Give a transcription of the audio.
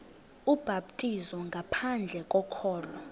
ubhaptizo ngaphandle kokholo